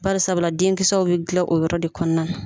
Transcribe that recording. Barisabula denkisɛw bɛ gilan o yɔrɔ de kɔnɔna na.